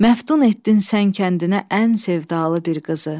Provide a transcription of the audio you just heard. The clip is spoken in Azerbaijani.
Məftun etdin sən kəndinə ən sevdalı bir qızı.